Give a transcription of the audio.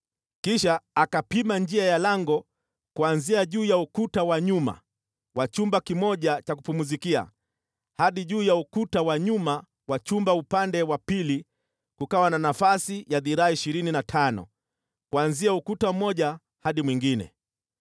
Kisha akapima njia ya lango kuanzia juu ya ukuta wa nyuma wa chumba kimoja cha kupumzikia hadi juu ya ukuta wa nyuma wa chumba upande wa pili; kukawa na nafasi ya dhiraa ishirini na tano kuanzia lango la ukuta mmoja hadi lango la ukuta uliokuwa upande mwingine.